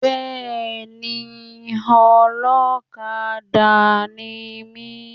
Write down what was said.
Bẹ́ẹ̀ni, Ọlọ́kadà ni mi.